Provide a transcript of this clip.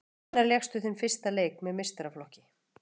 Hvenær lékstu þinn fyrsta leik með meistaraflokki?